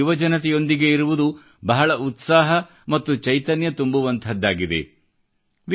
ದೇಶದ ಯುವಜನತೆಯೊಂದಿಗೆ ಇರುವುದು ಬಹಳ ಉತ್ಸಾಹ ಮತ್ತು ಚೈತನ್ಯ ತುಂಬುವಂಥದ್ದಾಗಿದೆ